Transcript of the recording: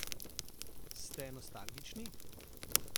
Ste nostalgični?